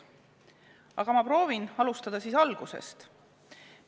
Aga ma proovin alustada algusest.